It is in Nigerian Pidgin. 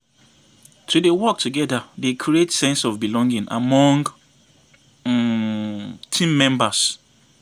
To dey work together dey create sense of belonging among um team members.